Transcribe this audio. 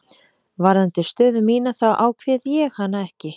Varðandi stöðu mína þá ákveð ég hana ekki.